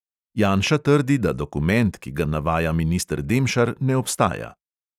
Janša trdi, da dokument, ki ga navaja minister demšar, ne obstaja.